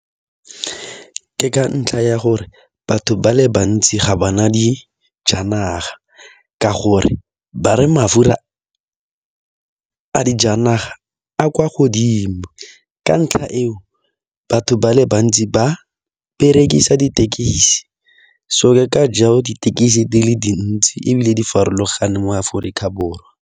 Ke ka ntlha ya gore batho ba le bantsi ga ba na dijanaga ka gore ba re mafura a dijanaga a kwa godimo ka ntlha eo batho ba le bantsi ba berekisa dithekisi so ke ka jalo dithekisi di le dintsi ebile di farologane mo Aforika Borwa.